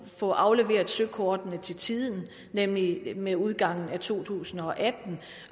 få afleveret søkortene til tiden nemlig ved udgangen af to tusind og atten